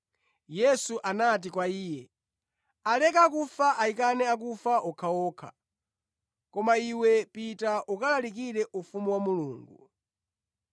Yesu anati kwa iye, “Aleke akufa ayikane akufa okhaokha, koma iwe pita ukalalikire ufumu wa Mulungu.”